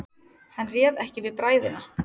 Hann réð ekki við bræðina.